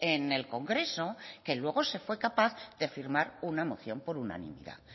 en el congreso que luego se fue capaz de firmar una moción por unanimidad